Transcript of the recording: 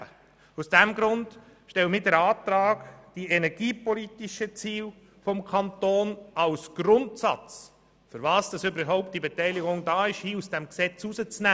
Deshalb stellen wir den Antrag, die energiepolitischen Ziele des Kantons als Grundsatz für das, wofür die Beteiligung überhaupt vorhanden ist, aus diesem Gesetz herauszunehmen.